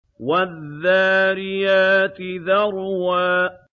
وَالذَّارِيَاتِ ذَرْوًا